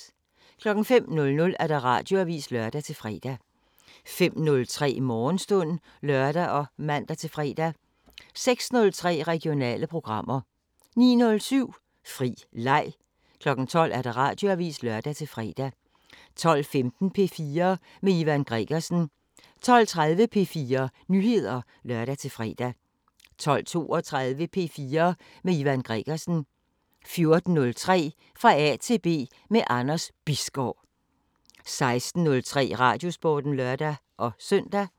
05:00: Radioavisen (lør-fre) 05:03: Morgenstund (lør og man-fre) 06:03: Regionale programmer 09:07: Fri leg 12:00: Radioavisen (lør-fre) 12:15: P4 med Ivan Gregersen 12:30: P4 Nyheder (lør-fre) 12:32: P4 med Ivan Gregersen 14:03: Fra A til B – med Anders Bisgaard 16:03: Radiosporten (lør-søn)